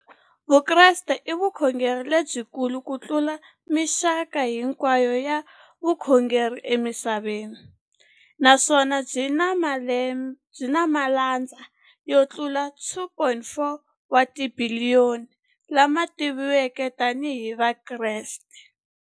Vukreste i vukhongeri lebyikulu kutlula mixaka hinkwayo ya vukhongeri emisaveni, naswona byi na malandza yo tlula 2.4 wa tibiliyoni, la ma tiviwaka tani hi Vakreste.